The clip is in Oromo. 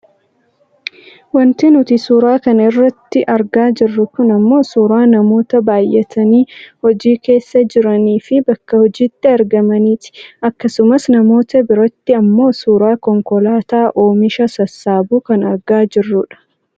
Wanti nuti suura kana irratti argaa jirru kun ammoo suuraa namoota baayyatanii hojii keessa jiraniifi bakka hojiitti argamaniiti. Akkasumas namoota biratti ammoo suuraa konkolaataa oomisha sassaabu kan argaa jirru dha.